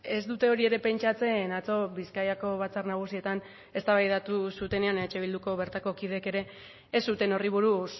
ez dute hori ere pentsatzen atzo bizkaiko batzar nagusietan eztabaidatu zutenean eh bilduko bertako kideek ere ez zuten horri buruz